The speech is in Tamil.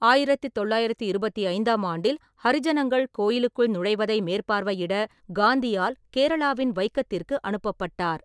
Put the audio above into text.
ஆயிரத்து தொள்ளாயிரத்து இருபத்தைந்தாம் ஆண்டில், ஹரிஜனங்கள் கோயிலுக்குள் நுழைவதை மேற்பார்வையிட காந்தியால் கேரளாவின் வைக்கத்திற்கு அனுப்பப்பட்டார்.